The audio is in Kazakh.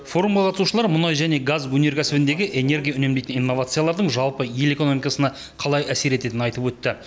форумға қатысушылар мұнай және газ өнеркәсібіндегі энергия үнемдейтін инновациялардың жалпы ел экономикасына қалай әсер ететінін айтып өтті